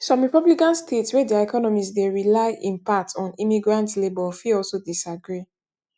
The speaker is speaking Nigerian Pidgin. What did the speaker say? some republican states wey dia economies dey rely in part on immigrant labour fit also disagree